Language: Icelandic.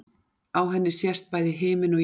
Á henni sést bæði himinn og jörð.